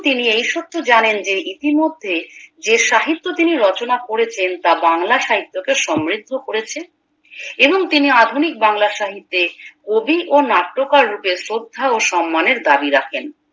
তিনি এই সত্য জানেন ইতি মধ্যে যে সাহিত্য তিনি রচনা করেছেন তা বাংলা সাহিত্যকে সমৃদ্ধ করেছে এবং তিনি আধুনিক বাংলা সাহিত্যে কবি ও নাট্যকার রূপে শ্রদ্ধা ও সন্মানের দাবি রাখেন